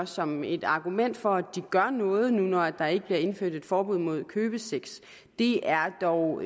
som et argument for at de gør noget nu når der ikke bliver indført et forbud mod købesex det er dog